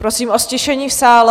Prosím o ztišení v sále.